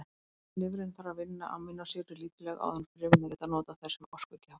Lifrin þarf að vinna amínósýrur lítillega áður en frumurnar geta notað þær sem orkugjafa.